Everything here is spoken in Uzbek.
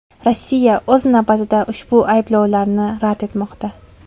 Rossiya, o‘z navbatida, ushbu ayblovlarni rad etmoqda.